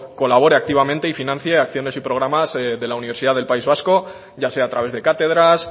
colabore activamente y financie acciones y programas de la universidad del país vasco ya sea a través de cátedras